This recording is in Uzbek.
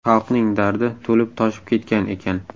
Xalqning dardi to‘lib-toshib ketgan ekan.